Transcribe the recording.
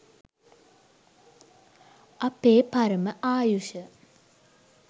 අපේ පරම ආයුෂ